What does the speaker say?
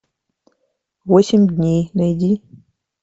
восемь дней найди